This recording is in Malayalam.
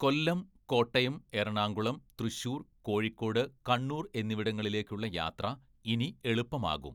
കൊല്ലം, കോട്ടയം, എറണാകുളം, തൃശൂർ, കോഴിക്കോട്, കണ്ണൂർ എന്നിവിടങ്ങളിലേക്കുള്ള യാത്ര ഇനി എളുപ്പമാകും.